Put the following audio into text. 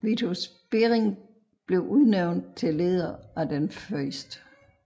Vitus Bering blev udnævnt til leder af Den 1